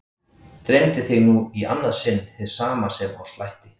Dreymdi þig nú í annað sinn hið sama sem á slætti?